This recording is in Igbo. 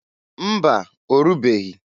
Mba! Orubeghi.